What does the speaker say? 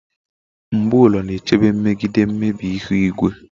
mbu ulo na-echebe megide mmebi ihu igwe